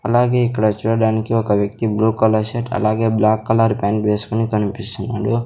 అలాగే ఇక్కడ చూడడానికి ఒక వ్యక్తి బ్లూ కలర్ షర్ట్ అలాగే బ్లాక్ కలర్ ప్యాంట్ వేసుకొని కనిపిస్తున్నాడు.